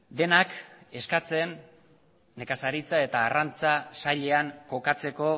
denak eskatzen nekazaritza eta arrantza sailean kokatzeko